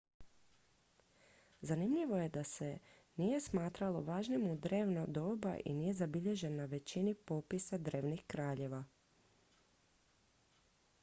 zanimljivo je da ga se nije smatralo važnim u drevno doba i nije zabilježen na većini popisa drevnih kraljeva